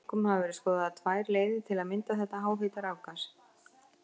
Einkum hafa verið skoðaðar tvær leiðir til að mynda þetta háhita rafgas.